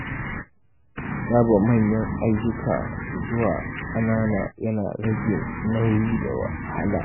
Raba manyan ayyuka zuwa ƙanana yana rage nauyi da wahala.